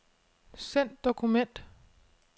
Send dokument.